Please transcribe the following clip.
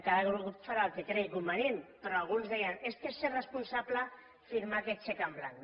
cada grup farà el que cregui convenient però alguns deien és que és ser responsable firmar aquest xec en blanc